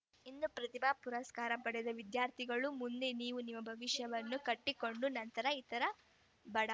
ಇಂದು ಪ್ರತಿಭಾ ಪುರಸ್ಕಾರ ಪಡೆದ ವಿದ್ಯಾರ್ಥಿಗಳು ಮುಂದೆ ನೀವು ನಿಮ್ಮ ಭವಿಷ್ಯವನ್ನು ಕಟ್ಟಿಕೊಂಡ ನಂತರ ಇತರ ಬಡ